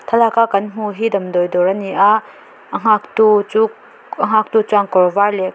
thlalaka kan hmuh hi damdawi dawr a ni a a nghaktu chu a nghaktu chuan kawr var leh--